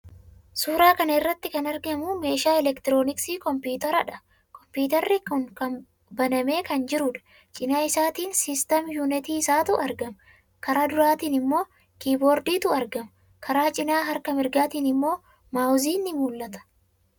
Suuraa kana irratti kan argamu meeshaa elektirooniksii kompiwuuteradha. Kompiwuuterri kun banamee kan jiruudha. Cina isaatiin 'system unit' isaatu argama. Karaa duraatiin immoo 'keyboard'tu argama. Karaa cinaa harka mirgaatiin immoo 'mouse'n ni mul'ata.